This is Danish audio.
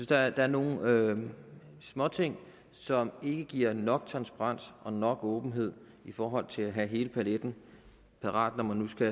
der er nogle småting som ikke giver nok transparens og nok åbenhed i forhold til at have hele paletten parat når man nu skal